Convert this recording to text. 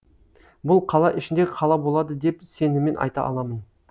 бұл қала ішіндегі қала болады деп сеніммен айта аламын